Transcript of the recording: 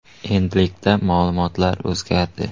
Endilikda ma’lumotlar o‘zgardi.